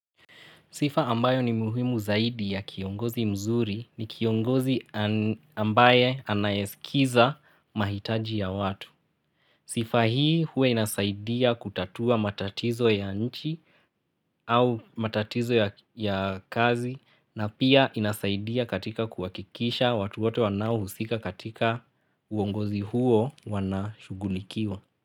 Sifa ambayo ni muhimu zaidi ya kiongozi mzuri ni kiongozi ambaye anayesikiza mahitaji ya watu. Sifa hii huwa inasaidia kutatua matatizo ya nchi au matatizo ya kazi na pia inasaidia katika kuakikisha watu wote wanao husika katika uongozi huo wanashugulikiwa.